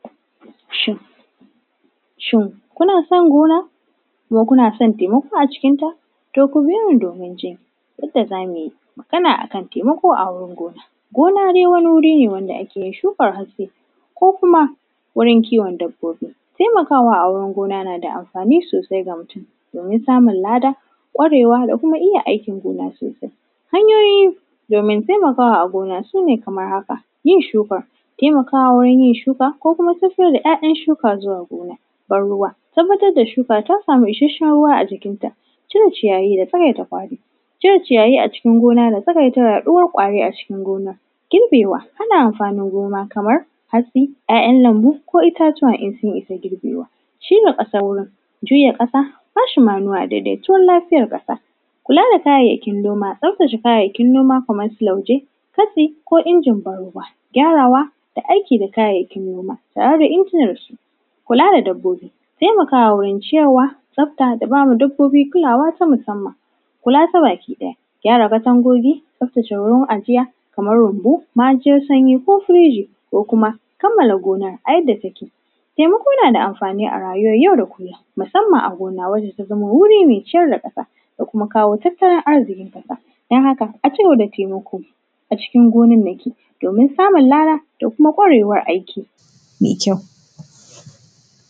Shin, shin, kuna son gona, kuma kuna son temako a cikinta? To ku biyo ni domin ji yadda za mu yi magana a kan temako a wurin gona. Gona de wani wuri ne ake yin shukan hatsi ko kuma wurin kiwon dabbobi. Temakawa a wurin gona na da amfani sosai ga mutun, domin samun lada, tsarewa da kuma iya aikin gona sosai. Hanyoyi domin temakawa a gona, su ne kamar haka. Yin shuka, temakawa wurin yin shuka ko kuma fito da ‘ya’yan shuka zuwa gona. Ban-ruwa, tabbatar da shuka ta samu isashen ruwa a jikinta. Cire ciyayi da tsawaita fadi, cire ciyayi a cikin gona da tsagaitawa iya ƙwari a cikin gona. Girbewa, hana amfanin gona kamar hatsi, ‘ya’yan lambu ko itatuwa in sun isa girbewa. Shirya ƙasan nan, juya ƙasa, kwashe “manua”, dedetuwar lafiyar ƙasa. Kula da kayayyakin noma, tsaftace kayayyakin noma kamar su lauje, katsi ko injin ban-ruwa. Gyarawa da aiki da kayayyakin noma tare da injinansu. Kula da dabbobi, temakawa wurin ciyarwa, tsafta da gyara dabbobi kulawa ta musamman. Kula ta bakiɗaya, gyara katangogi, tsaftace wurin ajiya kamar rumbu, ma’ajiyar sanyi ko firiji ko kuma kamala gona a yadda take. Temako na da amfani a rayuwar yau da kullin, masamman a gona wadda ta zama wuri me ciyar da ƙasa da kuma kawo tattalin arziƙin ƙasa. Don haka, a ci gaba da temako a cikin gonannaki, domin samun lada da kuma ƙwarewa a aiki me kyau.